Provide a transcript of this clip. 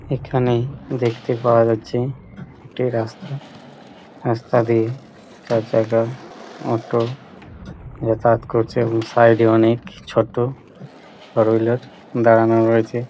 এখানে দেখতে পাওয়া যাচ্ছে একটা রাস্তা রাস্তা দিয়ে চারচাকা অটো যাতায়াত করছে এবং সাইড -এ অনেক ছোট ফোর হুইলার দাঁড়ানো রয়েছে।